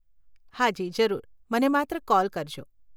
હાજી, જરૂર, મને માત્ર કોલ કરજો.